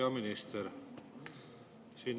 Hea minister!